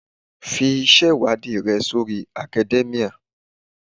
Fi ìṣe-ìwádìí rẹ sórí academia.